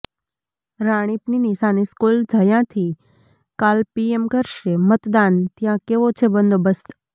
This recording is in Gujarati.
રાણીપની નિશાન સ્કૂલ જયાંથી કાલે પીએમ કરશે મતદાન ત્યાં કેવો છે બંદોબસ્ત